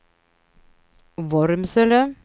Vormsele